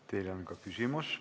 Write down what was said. Teile on ka küsimus.